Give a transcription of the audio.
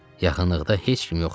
Yaxınlıqda heç kim yox idi.